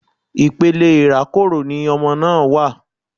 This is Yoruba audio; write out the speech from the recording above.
Ipele irakoro ni ọmọ náà wa